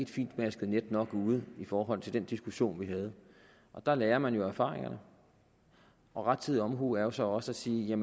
fintmasket net ude i forhold til den diskussion vi havde og der lærer man jo af erfaringerne rettidig omhu er jo så også at sige